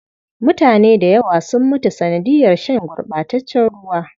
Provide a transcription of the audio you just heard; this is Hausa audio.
Mutane da yawa sun mutu sanadiyar shan gurɓataccen ruwa.